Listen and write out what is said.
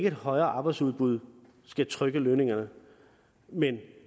et højere arbejdsudbud skal trykke lønningerne men